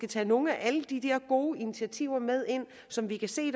tage nogle af alle de der gode initiativer med ind som vi kan se